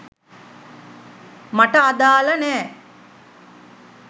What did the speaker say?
මට අදාල නෑ